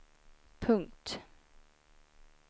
punkt